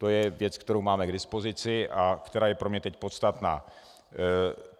To je věc, kterou máme k dispozici a která je pro mě teď podstatná.